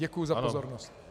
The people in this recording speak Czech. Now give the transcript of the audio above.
Děkuji za pozornost.